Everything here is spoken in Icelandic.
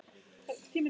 Ég fór alveg í klessu.